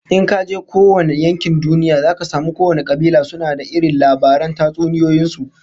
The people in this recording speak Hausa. In kaje kowane yankin duniya zaka samu kowane kabila suna da irin labaran tatsuniyoyin su